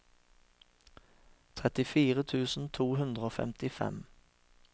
trettifire tusen to hundre og femtifem